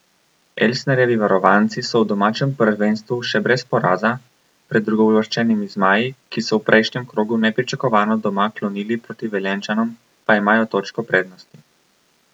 Elsnerjevi varovanci so v domačem prvenstvu še brez poraza, pred drugouvrščenimi zmaji, ki so v prejšnjem krogu nepričakovano doma klonili proti Velenjčanom, pa imajo točko prednosti.